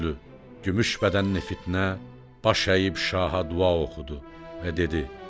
Ay yüzlü, gümüş bədənli Fitnə, baş əyib şaha dua oxudu və dedi: